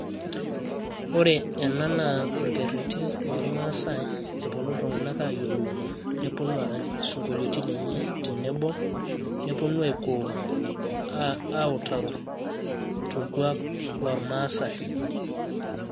ore ena naa orkereti loormaasai, lopuonu iltunganak aayiolouno ,nepuonu aarany isinkolioitn lenye tenebo. nepuonu aautaro torkuaak loormaasae.